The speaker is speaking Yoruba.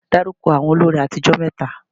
Dárúkọ àwọn olórin àtijó mẹ́ta?